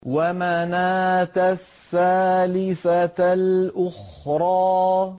وَمَنَاةَ الثَّالِثَةَ الْأُخْرَىٰ